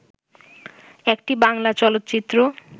একটি বাংলা চলচ্চিত্র